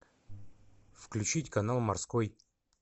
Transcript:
включить канал морской